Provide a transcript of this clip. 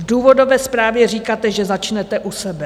V důvodové zprávě říkáte, že začnete u sebe.